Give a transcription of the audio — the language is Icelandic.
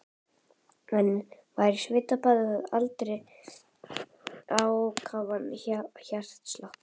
Hann var í svitabaði og hafði ákafan hjartslátt.